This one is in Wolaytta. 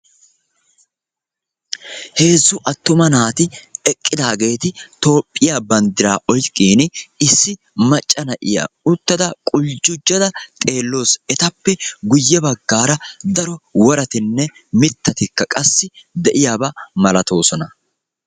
Heezzu attuma naati eqqidageti toophiya bandiraa oyqiini, issi macca na'iya oyqada quljjujada xeelawusu. etappe guye baggaara daro worattine miittati deiyaba malaatosona.